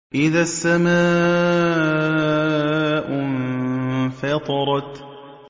إِذَا السَّمَاءُ انفَطَرَتْ